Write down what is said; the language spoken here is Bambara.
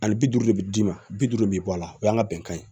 Ani bi duuru de bi d'i ma bi duuru bɛ bɔ a la o y'an ka bɛnkan ye